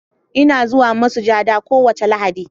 Ina zuwa masujada kowace Lahadi.